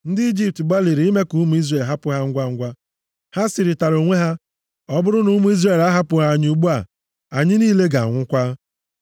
Ndị Ijipt gbalịrị ime ka ụmụ Izrel hapụ ha ngwangwa. Ha sịrịtara onwe ha, “Ọ bụrụ na ụmụ Izrel ahapụghị anyị ugbu a, anyị niile ga-anwụkwa.”